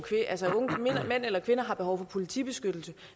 mænd eller kvinder har behov for politibeskyttelse